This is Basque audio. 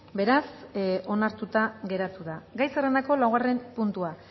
beraz onartuta geratu da gai zerrendako laugarren puntua